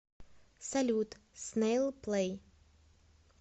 салют снэйл плэй